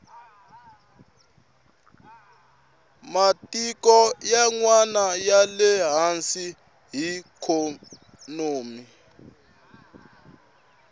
matiko yanwani yale hansi hi ikhonomi